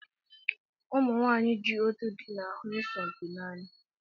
Ụmụ nwanyị ji otú dị na-ahụ isompi n'anya